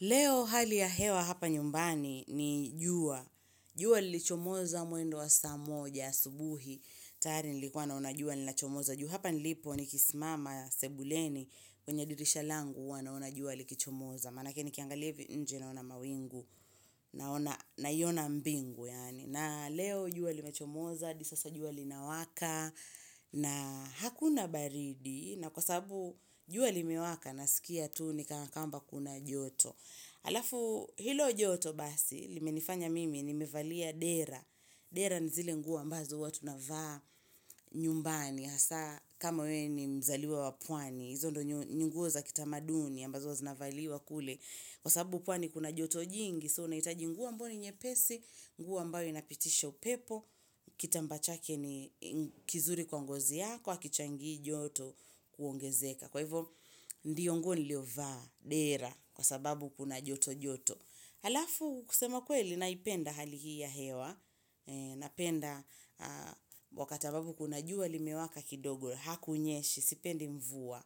Leo hali ya hewa hapa nyumbani ni jua, jua lilichomoza mwendo wa saa moja asubuhi, tayari nilikuwa naona jua linachomoza juu. Hapa nilipo ni kisimama sebuleni kwenye dirisha langu huwa naona jua likichomoza. Manake nikiangalia hivi nje naona mawingu naiona mbingu yaani. Na leo jua limechomoza, hadi sasa jua linawaka na hakuna baridi na kwa sababu jua limewaka nasikia tu ni kana kwamba kuna joto. Halafu hilo joto basi, limenifanya mimi, nimevalia dera, dera ni zile nguo ambazo huwa tunavaa nyumbani, hasa kama wewe ni mzaliwa wa pwani, hizo ndio nguo za kitamaduni ambazo huwa zinavaliwa kule, kwa sababu pwani kuna joto jingi, so unahitaji nguo ambayo ni nyepesi, nguo ambayo inapitisha upepo, kitambaa chake ni kizuri kwa ngozi yako, hakichangii joto kuongezeka. Kwa hivyo, ndiyo nguo niliovaa, dera, kwa sababu kuna joto joto Halafu, kusema kweli, naipenda hali hii ya hewa Napenda, wakati ambapo kuna jua limewaka kidogo, hakunyeshi, sipendi mvua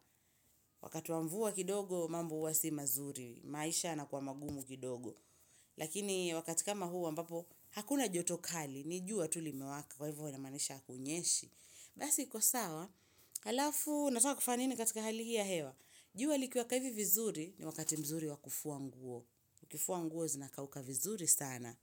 Wakati wa mvua kidogo, mambo huwa si mazuri, maisha yanakuwa magumu kidogo Lakini, wakati kama huu ambapo, hakuna joto kali, ni jua tu limewaka Kwa hivyo, inamaanisha hakunyeshi Basi iko sawa, halafu nataka kufanya nini katika hali hii ya hewa jua likiwaka hivi vizuri ni wakati mzuri wa kufua nguo ukifua nguo zinakauka vizuri sana.